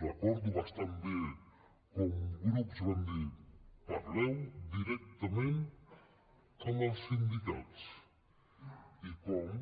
recordo bastant bé com grups van dir parleu directament amb els sindicats i com